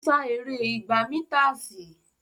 Ó sá eré igba mításìì.